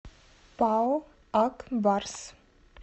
пао ак барс